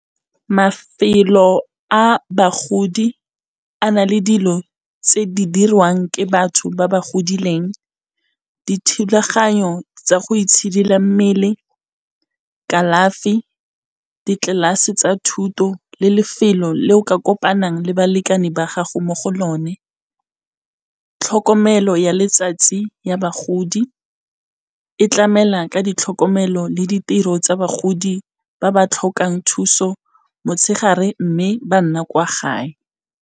Mafelo a bagodi a na le dilo tse di dirwang ke batho ba ba godileng. Dithulaganyo tsa go itshidila mmele, kalafi, ditlelase tsa thuto le lefelo le o ka kopanang le balekane ba gago mo go lone. Tlhokomelo ya letsatsi ya bagodi e tlamela ka ditlhokomelo le ditiro tsa bagodi ba ba tlhokang thuso motshegare mme ba nna kwa gae.